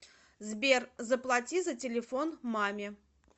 сбер заплати за телефон маме